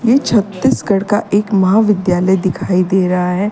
ये छत्तीसगढ़ का एक महाविद्यालय दिखाई दे रहा है।